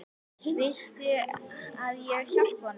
Viltu að ég hjálpi honum?